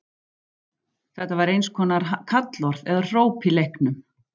Þetta var eins konar kallorð eða hróp í leiknum.